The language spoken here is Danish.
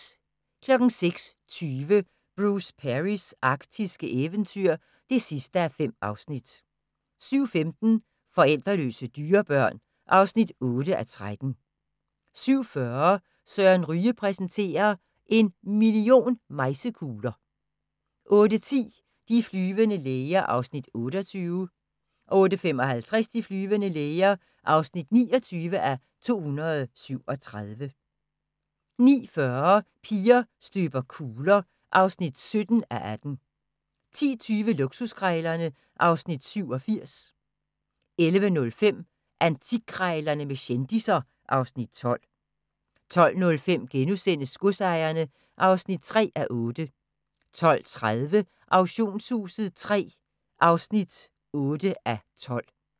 06:20: Bruce Perrys arktiske eventyr (5:5) 07:15: Forældreløse dyrebørn (8:13) 07:40: Søren Ryge præsenterer – En million mejsekugler 08:10: De flyvende læger (28:237) 08:55: De flyvende læger (29:237) 09:40: Piger støber kugler (17:18) 10:20: Luksuskrejlerne (Afs. 87) 11:05: Antikkrejlerne med kendisser (Afs. 12) 12:05: Godsejerne (3:8)* 12:30: Auktionshuset III (8:12)